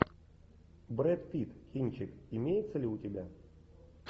брэд питт кинчик имеется ли у тебя